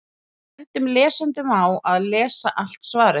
Við bendum lesendum á að lesa allt svarið.